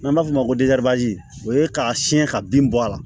N'an b'a fɔ o ma ko o ye k'a siɲɛ ka bin bɔ a la